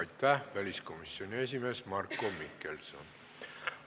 Aitäh, väliskomisjoni esimees Marko Mihkelson!